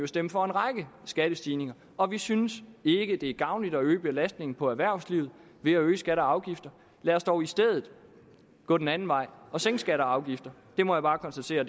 stemt for en række skattestigninger og vi synes ikke det er gavnligt at øge belastningen på erhvervslivet ved at øge skatter og afgifter lad os dog i stedet gå den anden vej og sænke skatter og afgifter det må jeg bare konstatere